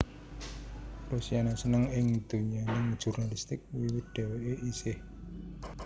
Rosiana seneng ing donyaning jurnalistik wiwit dhèwèké isih